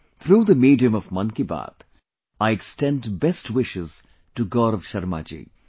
Through the medium of Mann Ki Baat, I extend best wishes to Gaurav Sharma ji